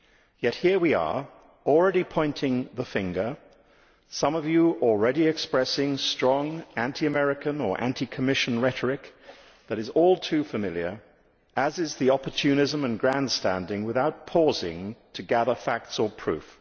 Yet here we are, already pointing the finger, with some of you already expressing strong anti American or anti Commission rhetoric which is all too familiar, as is the opportunism and grandstanding without pausing to gather facts or proof.